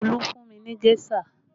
Olu fún mi ní géṣà